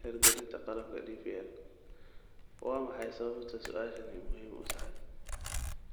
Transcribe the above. hirgelinta qalabka DPL? Waa maxay sababta su'aashani muhiim u tahay?